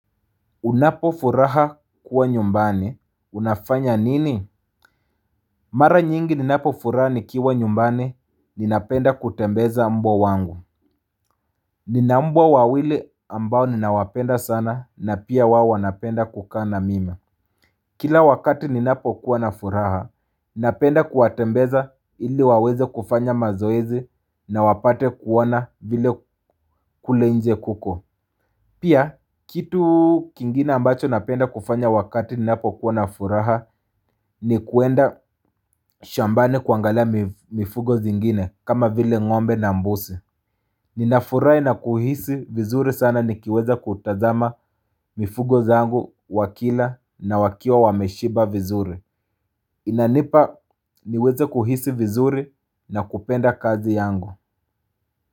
Unapo furaha kuwa nyumbani, unafanya nini? Mara nyingi ninapo furaha nikiwa nyumbani, ninapenda kutembeza mbwa wangu. Nina mbwa wawili ambao ninawapenda sana na pia wao wanapenda kukana mimi. Kila wakati ninapo kuwa na furaha, ninapenda kuwa tembeza ili waweze kufanya mazoezi na wapate kuona vile kule inje kuko. Pia, kitu kingine ambacho napenda kufanya wakati ninapo kuwa na furaha ni kuenda shambani kuangala mifugo zingine kama vile ngombe na mbuzi. Ninafurahi na kuhisi vizuri sana nikiweza kutazama mifugo zangu wakila na wakiwa wameshiba vizuri. Inanipa niweza kuhisi vizuri na kupenda kazi yangu.